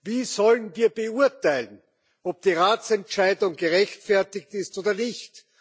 Wie sollen wir beurteilen, ob die Ratsentscheidung gerechtfertigt ist oder nicht?